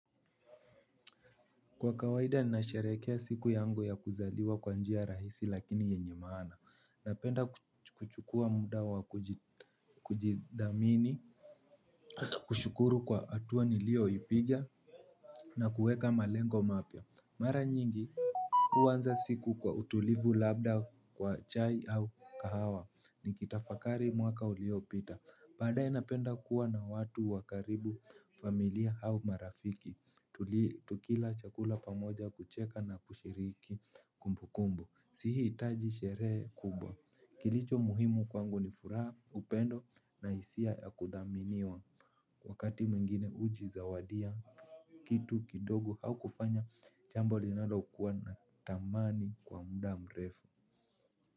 Kwa kawaida ninasharekea siku yangu ya kuzaliwa kwa njia rahisi lakini yenye maana. Napenda kuchukua muda wa kujid kujithamini, kushukuru kwa hatua nilioyoipiga na kuweka malengo mapya. Mara nyingi, huanza siku kwa utulivu labda kwa chai au kahawa ni kitafakari mwaka uliopita. Badae napenda kuwa na watu wakaribu familia au marafiki. Tukila chakula pamoja kucheka na kushiriki kumbukumbu. Sihitaji sherehe kubwa. Kilicho muhimu kwangu ni furaha upendo na hisia ya kuthaminiwa. Wakati mwingine hujizawadia kitu kidogo au kufanya, jambo linalokuwa na tamani kwa muda mrefu.